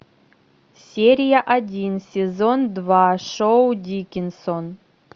серия один сезон два шоу дикинсон